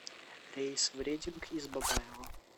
рейс в рединг из бабаево